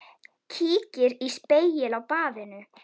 Kíkir í spegil á baðinu.